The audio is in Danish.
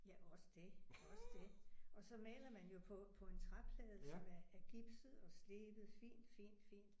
Ja også det også det. Og så maler man jo på på en træplade som er er gipset og slebet fint fint fint